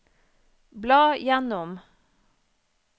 bla gjennom